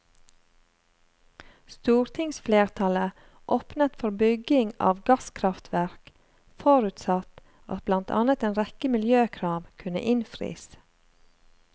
Stortingsflertallet åpnet for bygging av gasskraftverk forutsatt at blant annet en rekke miljøkrav kunne innfris.